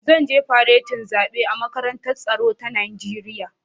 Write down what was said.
Zan je faretin zaɓe a Makarantar Tsaro ta Najeriya